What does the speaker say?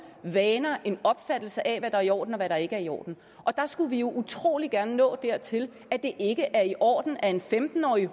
vaner en opfattelse af hvad der er i orden og hvad der ikke er i orden og der skulle vi jo utrolig gerne nå dertil at det ikke er i orden at en femten årig